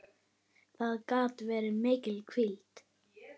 Það gat verið mikil hvíld.